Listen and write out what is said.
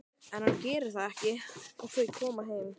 En hann gerir það ekki og þau koma heim.